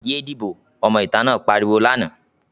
"Yé díbò!", ọmọ ìta náà pariwo lánàá.